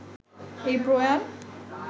এই প্রয়াণ